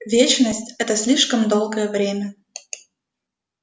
вечность это слишком долгое время